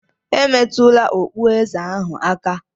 Emetụla okpueze ahụ aka!